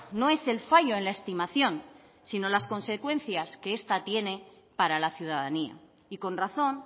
no es el fallo en la estimación sino las consecuencias que esta tiene para la ciudadanía y con razón